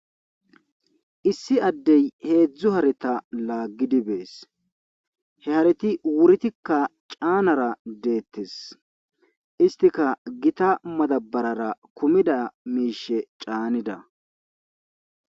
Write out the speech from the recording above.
Issi addee heezzu hareta laaggidi bees. He hareti wuritikka caanara deettes. Issotika gita madabarara kumida miishsha caanida.